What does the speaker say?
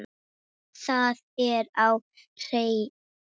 Það er á hreinu.